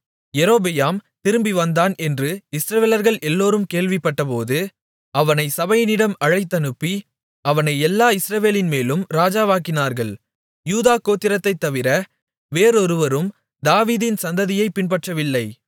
யெரொபெயாம் திரும்பிவந்தான் என்று இஸ்ரவேலர்கள் எல்லோரும் கேள்விப்பட்டபோது அவனை சபையினிடம் அழைத்தனுப்பி அவனை எல்லா இஸ்ரவேலின்மேலும் ராஜாவாக்கினார்கள் யூதா கோத்திரத்தைத் தவிர வேறொருவரும் தாவீதின் சந்ததியைப் பின்பற்றவில்லை